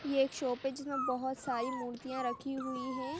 ये एक शॉप है जिसमे बोहोत सारी मूर्तियाँ रखी हुई है।